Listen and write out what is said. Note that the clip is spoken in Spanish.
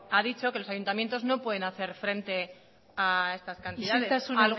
ha dicho que los ayuntamientos no pueden hacer frente a estas cantidades ixiltasuna